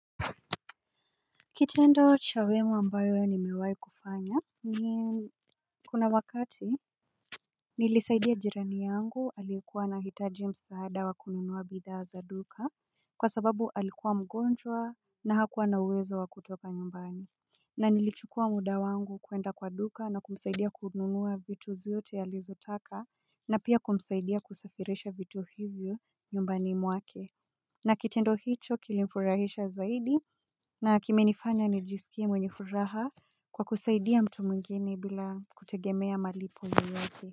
Kitendo cha wema ambayo nimewahi kufanya ni kuna wakati nilisaidia jirani yangu alikuwa anahitaji msaada wa kununuwa bidhaa za duka. Kwa sababu alikuwa mgonjwa na hakuwa na uwezo wa kutoka nyumbani. Na nilichukua muda wangu kuenda kwa duka na kumsaidia kununuwa vitu zote alizotaka na pia kumsaidia kusafarisha vitu hivyo nyumbani mwake. Na kitendo hicho kilimfurahisha zaidi. Na kimenifanya nijisikie mwenye furaha kwa kusaidia mtu mwingine bila kutegemea malipo yoyote.